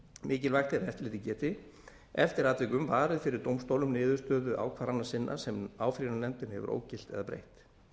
mikilvægt er að eftirlitið geti eftir atvikum varið fyrir dómstólum niðurstöðu ákvarðana sinna sem áfrýjunarnefndin hefur ógilt eða breytt